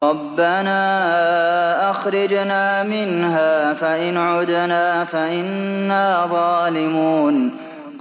رَبَّنَا أَخْرِجْنَا مِنْهَا فَإِنْ عُدْنَا فَإِنَّا ظَالِمُونَ